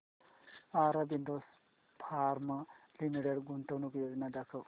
Aurobindo pharma limited गुंतवणूक योजना दाखव